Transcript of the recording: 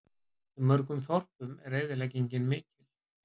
Í mörgum þorpum er eyðileggingin mikil